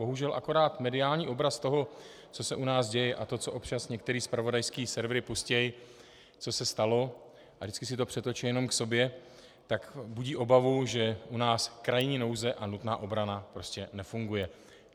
Bohužel akorát mediální obraz toho, co se u nás děje, a to, co občas některé zpravodajské servery pustí, co se stalo, a vždycky si to přetočí jenom k sobě, tak budí obavu, že u nás krajní nouze a nutná obrana prostě nefunguje.